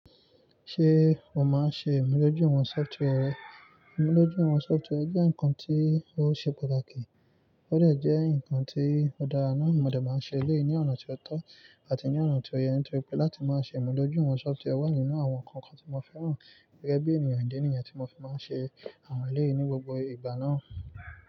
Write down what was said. Ṣé o máa ń ṣe ìmú dojuwon software re? Ìmudojuiwon software jẹ́ ǹkan tí ó ṣe pàtàkì, ó lè jẹ́ ǹkan tí òdara ná mo dé máa ń ṣe eleyii ní ọ̀nà tí ó tọ́ àti ní ọ̀nà tí ó yẹ, nítorí pé láti máa ṣe imudojuiwọn ìwọ̀n software wà nínú àwọn ǹkan kan tí mo fẹ́ràn gẹ́gẹ́ bí ènìyàn ìdí nìyẹn tí mo fi máa ń ṣe àwọn eléèní gbogbo ìgbà náà.